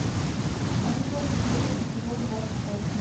санджей и крейг эпизод двадцать восемь